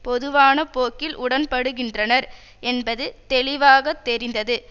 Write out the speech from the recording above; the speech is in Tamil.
பொதுவான போக்கில் உடன்படுகின்றனர் என்பது தெளிவாக தெரிந்தது